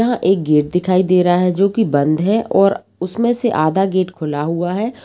यहां एक गेट दिखाई दे रहा है जोकी बंद है और उसमे से आधा गेट खुला हुआ है।